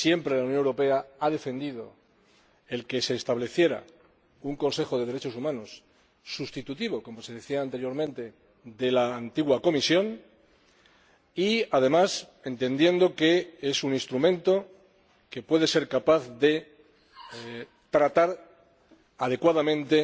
La Unión Europea ha defendido siempre que se estableciera un Consejo de Derechos Humanos sustitutivo, como se decía anteriormente, de la antigua Comisión y, además, entendiendo que es un instrumento que puede ser capaz de tratar adecuadamente